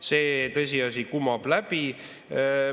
See tõsiasi kumab läbi.